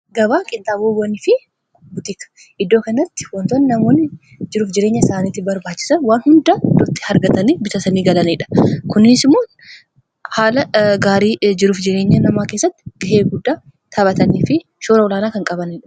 gabaa qixxaabowwanii fi butikadha. iddoo kanatti wantoonni namoonni jiruuf jireenya isaaniitti barbaachisan waan hundaa itti argatanii bitatanii galaniidha kunniisimoon haala gaarii jiruuf jireenya namaa keessatti gahee guddaa taphatanii fi shoora olaanaa kan qabaniidha.